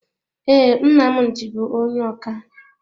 Ee, Nnamdi bú onye ọkà.